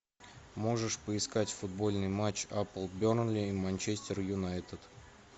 можешь поискать футбольный матч апл бернли и манчестер юнайтед